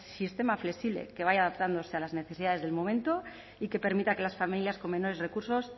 sistema flexible que vaya adaptándose a las necesidades del momento y que permita que las familias con menores recursos